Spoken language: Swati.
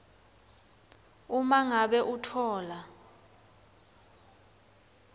uma ngabe utfola